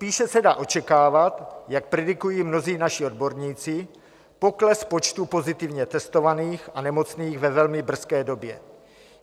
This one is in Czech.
Spíše se dá očekávat, jak predikují mnozí naši odborníci, pokles počtu pozitivně testovaných a nemocných ve velmi brzké době.